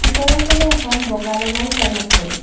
ওপৰৰ ফালে এখন বগা ৰঙৰ ফেন আছে।